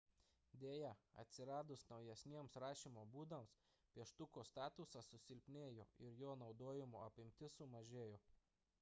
deja atsiradus naujesniems rašymo būdams pieštuko statusas susilpnėjo ir jo naudojimo apimtis sumažėjo